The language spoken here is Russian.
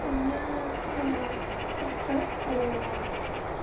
у меня эссе по